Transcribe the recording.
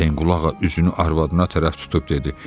Hüseynqulağa üzünü arvadına tərəf tutub dedi: